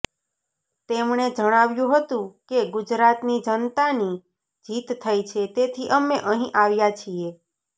તેમણે જણાવ્યું હતું કે ગુજરાતની જનતાની જીત થઈ છે તેથી અમે અહી આવ્યા છીએ